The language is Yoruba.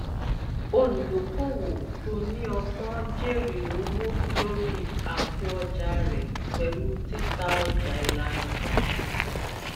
olùdókòòwò tó ní ọgbọn jèrè owó lórí àpòọjà rẹ pẹlú títà ọjà ìlànà kan